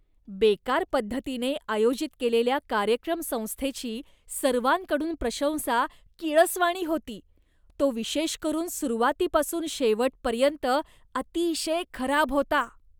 बेकार पद्धतीने आयोजित केलेल्या कार्यक्रम संस्थेची सर्वांकडून प्रशंसा किळसवाणी होती, तो विशेष करून सुरुवातीपासून शेवटपर्यंत अतिशय खराब होता.